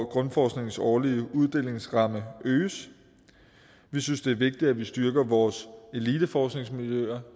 grundforskningens årlige uddelingsramme øges vi synes det er vigtigt at vi styrker vores eliteforskningsmiljøer